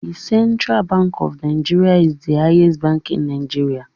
The Central Bank of NIgeria is the highest bank in Nigeria